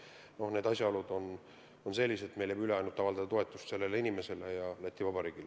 Noh, need asjaolud on sellised, et meil jääb üle ainult avaldada toetust sellele inimesele ja Läti Vabariigile.